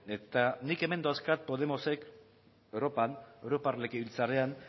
eta nik hemen dauzkat podemosek europar europar legebiltzarrean